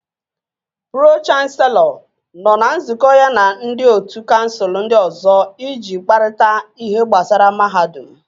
Pro-chanselọ nọ na nzukọ ya na ndị ótú kansụl ndị ọzọ iji kparịta ihe gbasara mahadum